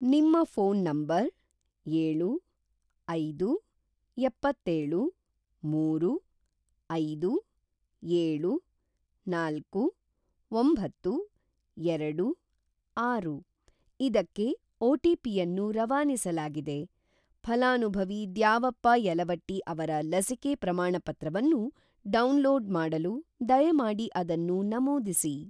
ನಿಮ್ಮ phone number ಏಳು, ಐದು, ಏಪ್ಪತ್ತೆಳು, ಮೂರು, ಐದು, ಏಳು, ನಾಲ್ಕು, ಒಂಬತ್ತು, ಎರಡು, ಆರು ಇದಕ್ಕೆ ಒ.ಟಿ.ಪಿ.ಯನ್ನು ರವಾನಿಸಲಾಗಿದೆ. ‌ಫಲಾನುಭವಿ ದ್ಯಾವಪ್ಪ ಯಲವಟ್ಟಿ ಅವರ ಲಸಿಕೆ ಪ್ರಮಾಣಪತ್ರವನ್ನು ಡೌನ್‌ಲೋಡ್‌ ಮಾಡಲು ದಯಮಾಡಿ ಅದನ್ನು ನಮೂದಿಸಿ.